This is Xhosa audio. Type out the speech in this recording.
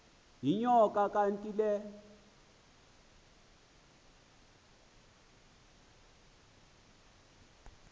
yinyoka le kanti